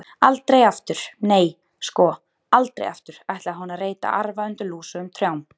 Aldrei aftur, nei, sko, aldrei aftur ætlaði hún að reyta arfa undir lúsugum trjám.